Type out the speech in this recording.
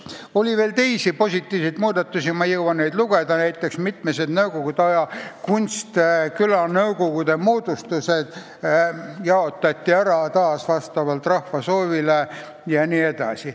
Oli veel teisi positiivseid muudatusi, ma ei jõua neid ette lugeda, näiteks, mitmed nõukogude aja kunstlikult moodustatud külanõukogud jaotati ära rahva soovi järgi jne.